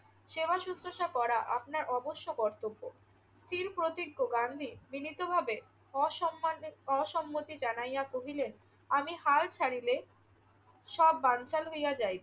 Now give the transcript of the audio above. সেবা শুশ্রুষা করা আপনার অবশ্য কর্তব্য। স্থির প্রতিজ্ঞ গান্ধী বিনীতভাবে অসম্মানের~ অসম্মতি জানাইয়া কহিলেন, আমি হাল ছাড়িলে সব বানচাল হইয়া যাইবে।